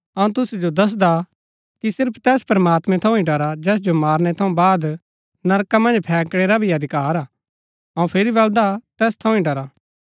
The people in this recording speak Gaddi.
अऊँ तुसु जो दसदा कि सिर्फ तैस प्रमात्मैं थऊँ ही डरा जैस जो मारनै थऊँ बाद नरका मन्ज फैंकणै रा भी अधिकार हा अऊँ फिरी बलदा तैस थऊँ ही डरा